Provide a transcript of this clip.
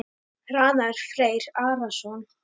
Hrannar Freyr Arason.